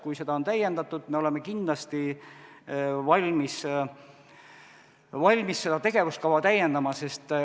Kui seda on täiendatud, siis me oleme kindlasti valmis tegevuskava täiendama.